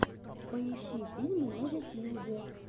поищи фильмы на ютьюбе